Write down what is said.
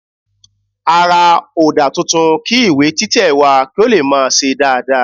A ra òdà titun kí ìwé títẹ̀ wà kí ó lè máa se dáadáa